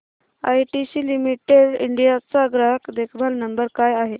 ITC limited India चा ग्राहक देखभाल नंबर काय आहे